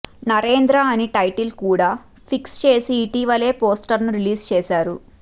నరేంద్ర అని టైటిల్ కూడా ఫిక్స్ చేసి ఇటీవల పోస్టర్స్ ని రిలీజ్ చేశారు